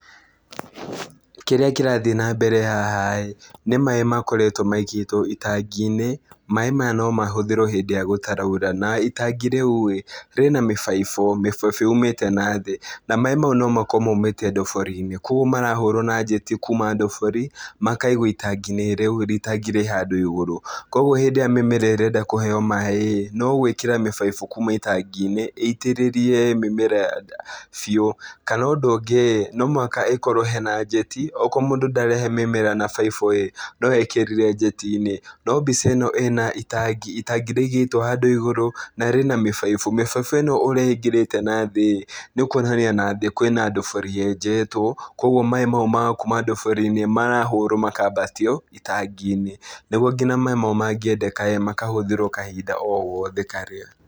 Kĩrĩa kĩrathiĩ na mbere haha ĩĩ, ni maaĩ makoretwo maigĩtwo itangi-inĩ. Maaĩ maya no mahũthĩrwo hĩndĩ ĩrĩa gũtaraura. Na itangi rĩu ĩĩ , rĩna mĩbaibũ, mĩbaibũ yumĩte na thĩ. Na maaĩ mau nomakorwo maumĩte ndobori-inĩ. Kogwo marahũrwo na njeti kuma ndobori, makaigwo itangi-inĩ rĩu, itangi rĩ handũ igũrũ. Kogwo hĩndĩ ĩrĩa mĩmera ĩrenda kũheo maaĩ ĩĩ, no gwĩkĩra mĩbaibũ kuma itangi-inĩ, ĩitĩrĩrie mĩmera biũ. Kana ũndũ ũngĩ ĩĩ, no mũhaka ĩkorwo hena njeti, okorwo mũndũ ndarahe mĩmera na baibu ĩĩ, no ekĩrire njeti-inĩ. No mbica ĩno ĩna itangi, itangi rĩigĩtwo handũ igũrũ, na rĩna mĩbaibũ. Mĩbaibũ ĩno ũrĩa ĩingĩrĩte na thĩ ĩĩ, nĩkwonania na thĩ kwĩna ndobori yenjetwo, kogwo maaĩ mau ma kuma ndobori-inĩ marahũrwo makambatio itangi-inĩ. Nĩguo nginya maaĩ mau mangĩendeka ĩĩ, makahũthĩrwo kahinda o gothe karĩa.